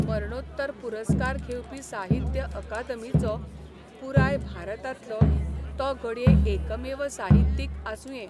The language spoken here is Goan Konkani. मरणोत्तर पुरस्कार घेवपी साहित्य अकादमीचो पुराय भारतांतलो तो घडये एकमेव साहित्यीक आसुंये.